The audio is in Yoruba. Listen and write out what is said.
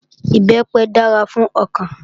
Ìbẹ́pẹ dára fún ọkàn